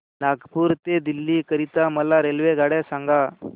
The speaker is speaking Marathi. नागपुर ते दिल्ली करीता मला रेल्वेगाड्या सांगा